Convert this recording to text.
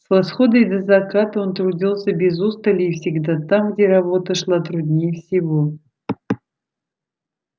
с восхода и до заката он трудился без устали и всегда там где работа шла труднее всего